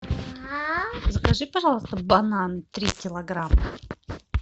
закажи пожалуйста бананы три килограмма